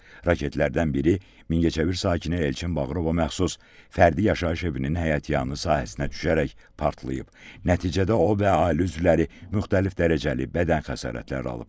Raketlərdən biri Mingəçevir sakini Elçin Bağırova məxsus fərdi yaşayış evinin həyətyanı sahəsinə düşərək partlayıb, nəticədə o və ailə üzvləri müxtəlif dərəcəli bədən xəsarətləri alıb.